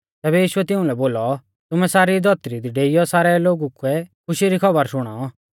तैबै यीशुऐ तिउंलै बोलौ तुमै सारी धौतरी दी डेइयौ सारै लोगु कै खुशी री खौबर शुणाऔ